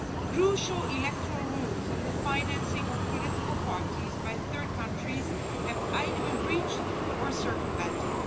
Crucial electoral rules on the financing of political parties by third countries have been either breached or circumvented.